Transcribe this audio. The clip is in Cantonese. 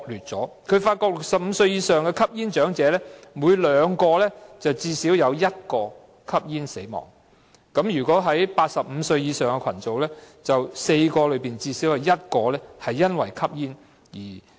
結果顯示在65歲以上的吸煙長者中，每2人便最少有1人因吸煙而死亡；在85歲以上的群組，每4人中最少有1人因吸煙而死亡。